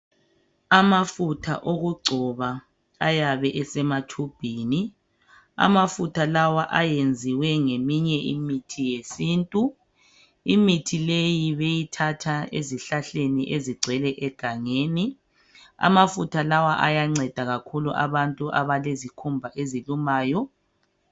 Amafutha okugcoba ayabe esematshubhini amafutha lawa ayenziwe ngemithi yesintu imithi leyi beyithatha ezihlahleni ezigcwele egangelni amafutha lawa ayanceda kakhulu ebantwini abalezikhumba ezilumayo.